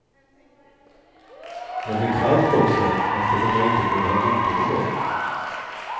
Det blev kallt också, eftersom jag inte kunde ha motorn igång.